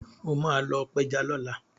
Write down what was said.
O máa lọ pẹja lọ́la.